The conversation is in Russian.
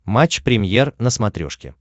матч премьер на смотрешке